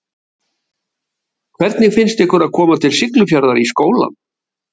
Lóa: Hvernig finnst ykkur að koma til Siglufjarðar í skólann?